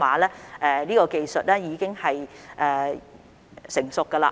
這方面的技術已經成熟。